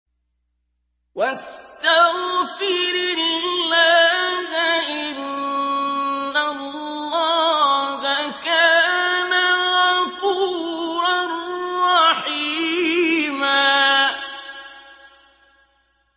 وَاسْتَغْفِرِ اللَّهَ ۖ إِنَّ اللَّهَ كَانَ غَفُورًا رَّحِيمًا